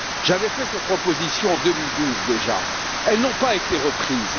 J'avais fait ces propositions en 2012 déjà, elles n'ont pas été reprises.